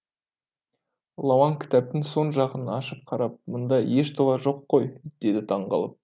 лауан кітаптың соң жағын ашып қарап мында еш дұға жоқ қой деді таңғалып